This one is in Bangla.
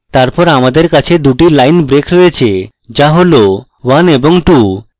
তারপর আমাদের কাছে 2 টি line breaks রয়েছে যা হল 1 এবং 2